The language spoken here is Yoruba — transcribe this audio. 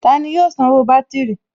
Tani yóò sanwó bátìrì?